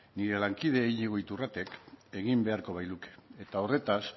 nire lankide iñigo iturratek egin beharko bailuke eta horretaz